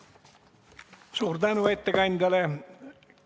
Suur tänu ettekandjale!